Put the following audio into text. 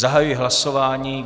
Zahajuji hlasování.